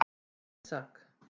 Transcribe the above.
Ísak